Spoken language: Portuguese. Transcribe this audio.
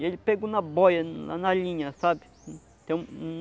E ele pegou na boia, na na linha, sabe? Tem um